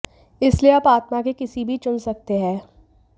इसलिए आप आत्मा के किसी भी चुन सकते हैं